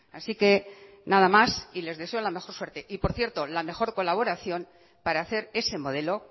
así que nada más y les deseo la mejor suerte y por cierto la mejor colaboración para hacer ese modelo